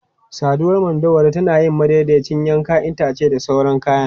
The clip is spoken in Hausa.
Saduwar madauwari tana yin madaidaiciyar yanke itace da sauran kayan.